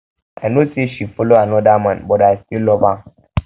i no say she follow another man but i still love am